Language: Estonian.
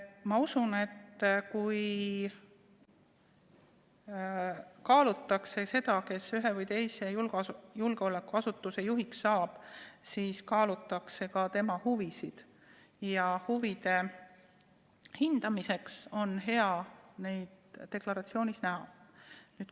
Ma usun, et kui kaalutakse seda, kes ühe või teise julgeolekuasutuse juhiks saab, siis kaalutakse ka tema huvisid ja huvide hindamiseks on hea neid deklaratsioonis näha.